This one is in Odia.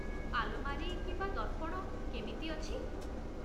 ଆଲମାରୀ କିମ୍ବା ଦର୍ପଣ କେମିତି ଅଛି?